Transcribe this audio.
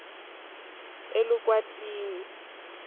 elukwatini